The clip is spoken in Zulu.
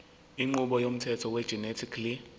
inqubo yomthetho wegenetically